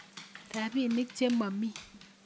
Rapinik che momii